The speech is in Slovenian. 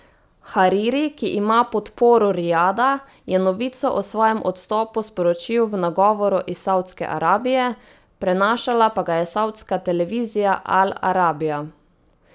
Hariri, ki ima podporo Rijada, je novico o svojem odstopu sporočil v nagovoru iz Savdske Arabije, prenašala pa ga je savdska televizija Al Arabija.